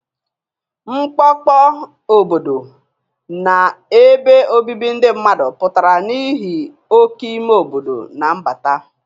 Mkpọkpọ obodo na ebe obibi ndị mmadụ pụtara n'ihi oke ime obodo na mbata.